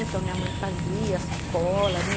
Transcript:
Então minha mãe fazia sacola, né?